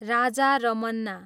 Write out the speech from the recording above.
Raja Ramanna